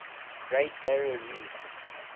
great barrier reef